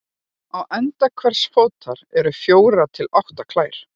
Á enda hvers fótar eru fjórar til átta klær.